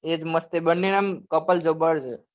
એજ મસ્ત બંને એમ couple જબ્બર છ.